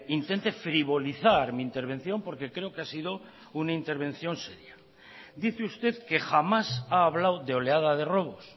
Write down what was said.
intente frivolizar mi intervención porque creo que ha sido una intervención seria dice usted que jamás ha hablado de oleada de robos